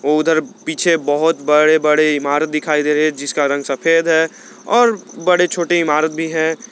वो उधर पीछे बहुत बड़े बड़े इमारत दिखाई दे रहे हैं जिसका रंग सफेद है और बड़े छोटे इमारत भी हैं।